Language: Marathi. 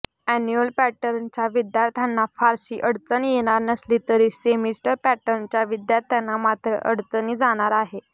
एन्युअल पॅटर्नच्या विद्यार्थ्यांना फारसी अडचण येणार नसली तरी सेमिस्टर पॅटर्नच्या विद्यार्थ्यांना मात्र अडचणी जाणार आहे